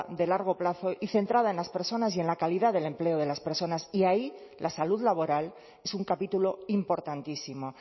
de largo plazo y centrada en las personas y en la calidad del empleo de las personas y ahí la salud laboral es un capítulo importantísimo